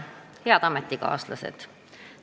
Head ametikaaslased!